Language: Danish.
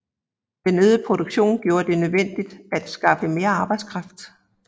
Den øgede produktion gjorde det nødvendigt at skaffe mere arbejdskraft